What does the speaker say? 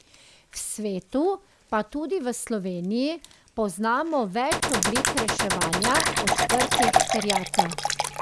V svetu pa tudi v Sloveniji poznamo več oblik reševanja odprtih terjatev.